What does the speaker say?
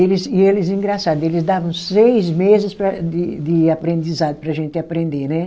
Eles e eles, engraçado, eles davam seis meses para de de aprendizado para a gente aprender, né?